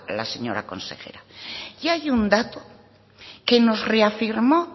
la señora consejera y hay un dato que nos reafirmó